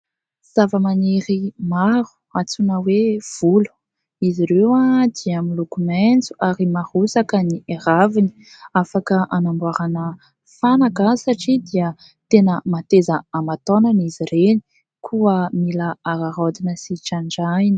Zavamaniry maro antsoina hoe volo. Izy ireo dia miloko maitso ary marotsaka ny raviny ; afaka hanamboarana fanaka satria dia tena mateza aman-taonany izy ireny, koa mila araraotina sy trandrahina.